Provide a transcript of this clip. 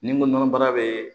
Ni n ko nɔnɔ baara bɛ